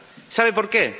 ¿Sabe por qué?